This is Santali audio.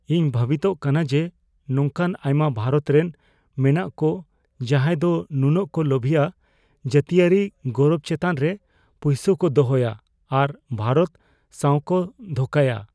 ᱤᱧ ᱵᱷᱟᱹᱵᱤᱛᱚᱜ ᱠᱟᱱᱟ ᱡᱮ, ᱱᱚᱝᱠᱟ ᱟᱭᱢᱟ ᱵᱷᱟᱨᱚᱛ ᱨᱮ ᱢᱮᱱᱟᱜ ᱠᱚ ᱡᱟᱦᱟᱸᱭ ᱫᱚ ᱱᱩᱱᱟᱹᱜ ᱠᱚ ᱞᱳᱵᱷᱤᱭᱟ ᱡᱟᱹᱛᱤᱭᱟᱹᱨᱤ ᱜᱚᱨᱚᱵ ᱪᱮᱛᱟᱱᱨᱮ ᱯᱩᱭᱥᱟᱹ ᱠᱚ ᱫᱚᱦᱚᱭᱟ ᱟᱨ ᱵᱷᱟᱨᱚᱛ ᱥᱟᱶᱠᱚ ᱫᱷᱳᱠᱟᱭᱟ ᱾